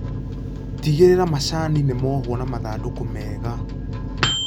Tigĩrĩra macani nĩmohwo na mathandũkũ mega.